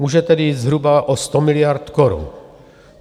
Může tedy jít zhruba o 100 miliard korun.